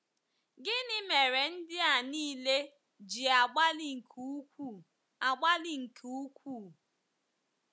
Gịnị mere ndị a nile ji agbalị nke ukwuu agbalị nke ukwuu?